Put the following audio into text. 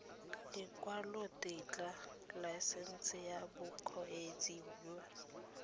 lekwalotetla laesense ya bokgweetsi ya